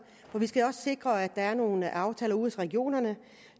for vi skal også sikre at der er nogle aftaler ude i regionerne